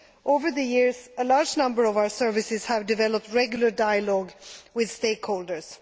Over the years, a large number of our services have developed regular dialogue with stakeholders.